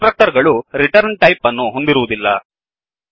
ಕನ್ಸ್ ಟ್ರಕ್ಟರ್ ಗಳು return type ಅನ್ನು ಹೊಂದಿರುವುದಿಲ್ಲ